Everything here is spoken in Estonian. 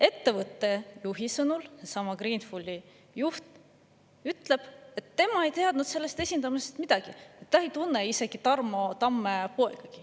Ettevõtte juht, sellesama Greenfuli juht ütleb, et tema ei teadnud sellest esindamisest midagi, ta isegi ei tunne Tarmo Tamme poega.